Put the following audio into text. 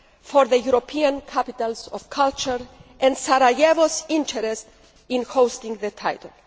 Pack for the European capitals of culture and Sarajevo's interest in holding the title.